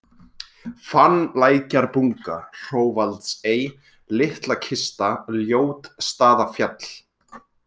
Fannlækjarbunga, Hrófaldsey, Litlakista, Ljótsstaðafjall